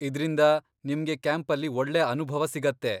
ಇದ್ರಿಂದ ನಿಮ್ಗೆ ಕ್ಯಾಂಪಲ್ಲಿ ಒಳ್ಳೆ ಅನುಭವ ಸಿಗತ್ತೆ.